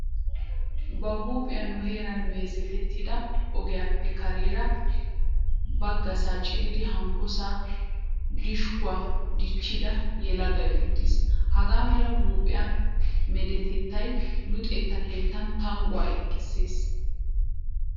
Ba huuphiya nu heeran meezetettida ogiyappe kareera baggasaa ciiridi hankkosaa dishkkuwa dichchida yelagay uttiis. Hagaa mala huuphiya meedettay luxetta keettan tangguwa ekissees.